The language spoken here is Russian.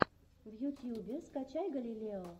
в ютьюбе скачай галилео